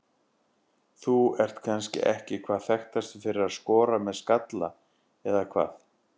Þú ert kannski ekki hvað þekktastur fyrir að skora með skalla eða hvað?